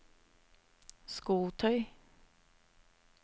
skotøy